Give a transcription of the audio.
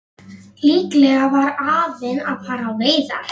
Líklega var afinn að fara á veiðar.